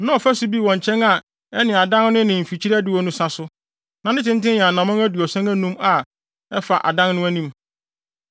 Na ɔfasu bi wɔ nkyɛn a ɛne adan no ne mfikyiri adiwo no sa so; na ne tenten yɛ anammɔn aduɔson anum a ɛfa adan no anim.